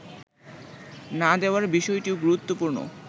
না দেওয়ার বিষয়টিও গুরুত্বপূর্ণ